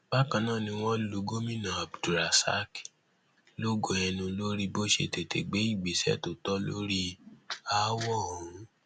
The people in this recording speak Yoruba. bákan náà ni wọn lu gomina abdulrasaq lógo ẹnu lórí bó ṣe tètè gbé ìgbésẹ tó tọ lórí aáwọ ọhún